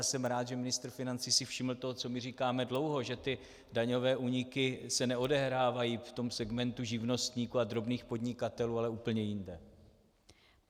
Já jsem rád, že ministr financí si všiml toho, co my říkáme dlouho, že ty daňové úniky se neodehrávají v tom segmentu živnostníků a drobných podnikatelů, ale úplně jinde.